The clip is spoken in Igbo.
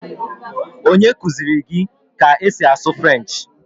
Onye kụziri gị ka esi asụ Frenchi?